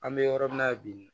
An bɛ yɔrɔ min na bi